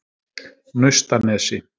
Naustanesi